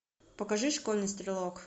покажи школьный стрелок